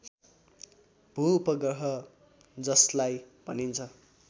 भूउपग्रह जसलाई भनिन्छ